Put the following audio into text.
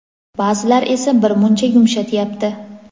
Ba’zilar esa bir muncha yumshatyapti.